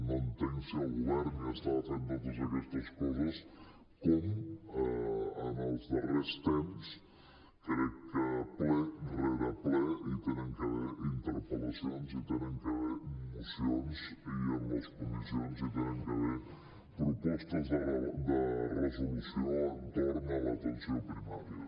no entenc si el govern ja estava fent totes aquestes coses com els darrers temps crec que ple rere ple hi han hagut d’haver interpel·lacions i hi han hagut d’haver mocions i en les comissions hi han hagut d’haver propostes de resolució entorn de l’atenció primària